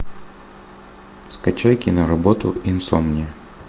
скачай киноработу инсомния